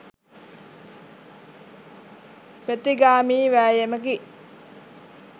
ප්‍රතිගාමී වෑයමකි